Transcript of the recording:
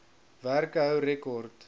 werke hou rekord